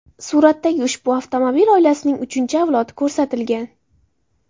Suratdagi ushbu avtomobil oilasining uchinchi avlodi ko‘rsatilgan.